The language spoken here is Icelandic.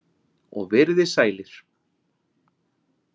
Og verið þið sælir